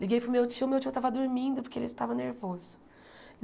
Liguei para o meu tio, meu tio estava dormindo porque ele estava nervoso.